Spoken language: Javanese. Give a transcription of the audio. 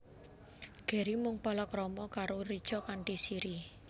Gary mung palakrama karo Richa kanthi Siri